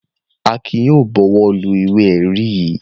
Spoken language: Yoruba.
Akin yóò bọwọ́lu ìwé-ẹ̀rí yìí.